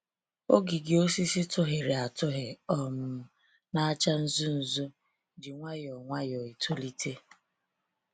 Ogidi osisi tughịrị atụghị um na acha nzu nzu ji nwayọọ nwayọọ etolite